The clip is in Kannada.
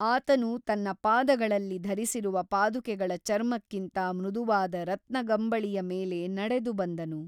ಆತನು ತನ್ನ ಪಾದಗಳಲ್ಲಿ ಧರಿಸಿರುವ ಪಾದುಕೆಗಳ ಚರ್ಮಕ್ಕಿಂತ ಮೃದುವಾದ ರತ್ನಗಂಬಳಿಯ ಮೇಲೆ ನಡೆದು ಬಂದನು.